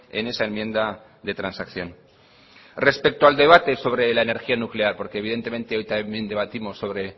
en esa enmienda de transacción respecto al debate sobre la energía nuclear porque evidentemente hoy también debatimos sobre